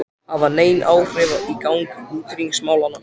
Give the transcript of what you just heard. hafa nein áhrif á gang utanríkismálanna.